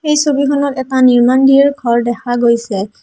এই ছবিখনত এটা নিৰ্মাণ ঘৰ দেখা গৈছে।